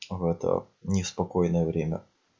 а в это неспокойное время